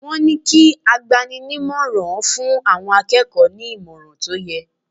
Wọ́n ní kí agbani-ní-ìmọ̀ràn fún àwọn akẹ́kọ̀ọ́ ní ìmọ̀ràn tó yẹ.